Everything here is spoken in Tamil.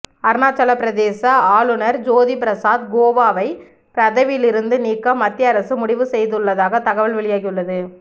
அருணாச்சலப்பிரதேச ஆளுநர் ஜோதி பிரசாத் கோவாவை பதவியிலிருந்து நீக்க மத்திய அரசு முடிவு செய்துள்ளதாக தகவல் வெளியாகியுள்ளது